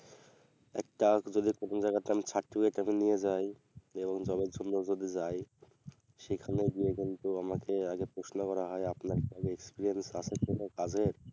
একটা যদি কোনো জায়গাতে আমি certificate টা নিয়ে যাই যেমন ধরো job এর জন্য যদি যাই সেখানে গিয়ে কিন্তু আমাকে আগে প্রশ্ন করা হয় আপনার job experience আছে কোনো কাজের